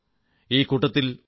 ഈ കൂട്ടത്തിൽ f